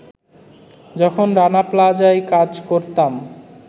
“যখন রানা প্লাজায় কাজ করতাম